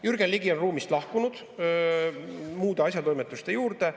Jürgen Ligi on ruumist lahkunud muude asjatoimetuste juurde.